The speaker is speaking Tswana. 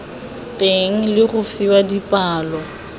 teng le go fiwa dipalo